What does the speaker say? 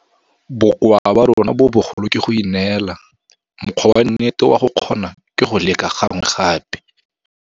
Bokoa ba rona bo bogolo ke go ineela. Mokgwa wa nnete wa go kgona ke go leka gangwe gape.